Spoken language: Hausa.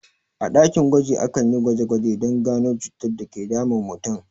A ɗakin gwaji akeyin gwaje gwaje don gano cutar dake damun mutum